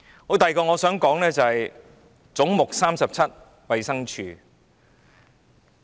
我想說的第二點是總目 37― 衞生署。